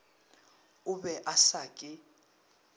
o be a sa ke